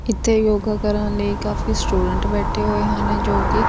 ਇੱਥੇ ਯੋਗਾ ਕਰਨ ਲਈ ਕਾਫੀ ਸਟੂਡੈਂਟ ਬੈਠੇ ਹੋਏ ਹਨ ਜੋ ਕਿ --